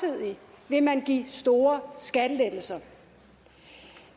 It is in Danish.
men man give store skattelettelser